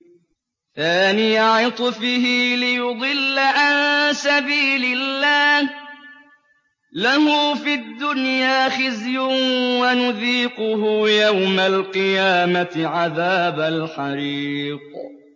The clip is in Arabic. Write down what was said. ثَانِيَ عِطْفِهِ لِيُضِلَّ عَن سَبِيلِ اللَّهِ ۖ لَهُ فِي الدُّنْيَا خِزْيٌ ۖ وَنُذِيقُهُ يَوْمَ الْقِيَامَةِ عَذَابَ الْحَرِيقِ